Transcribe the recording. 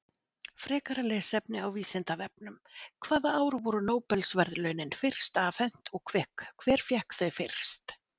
Frekara lesefni á Vísindavefnum: Hvaða ár voru Nóbelsverðlaunin fyrst afhent og hver fékk þau fyrst?